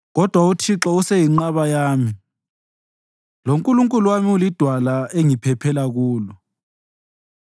Kodwa uThixo useyinqaba yami, loNkulunkulu wami ulidwala engiphephela kulo.